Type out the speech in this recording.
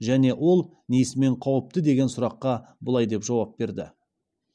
және ол несімен қауіпті деген сұраққа былай деп жауап берді